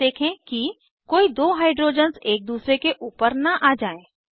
दोबारा देखें कि कोई दो हाइड्रोजन्स एक दूसरे के ऊपर न आ जाएँ